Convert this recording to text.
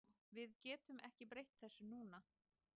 Við getum ekki breytt þessu núna.